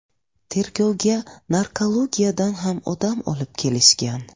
Tergovga narkologiyadan ham odam olib kelishgan.